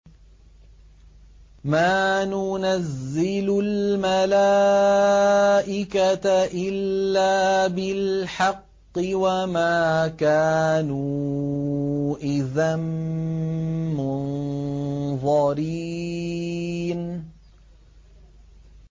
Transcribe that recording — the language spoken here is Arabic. مَا نُنَزِّلُ الْمَلَائِكَةَ إِلَّا بِالْحَقِّ وَمَا كَانُوا إِذًا مُّنظَرِينَ